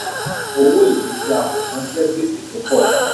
owó èlé tí a kò san jẹ́ gbèsè tó pọ̀ síi.